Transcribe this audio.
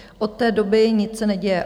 Od té doby se nic neděje.